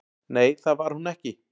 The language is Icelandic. """Nei, það var hún ekki."""